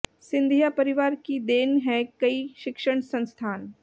सिंधिया परिवार की देन है कई शिक्षण संस्थान